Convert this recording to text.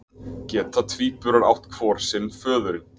Geta tvíburar átt hvor sinn föðurinn?